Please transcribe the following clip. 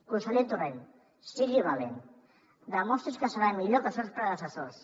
conseller torrent sigui valent demostri’ns que serà millor que els seus predecessors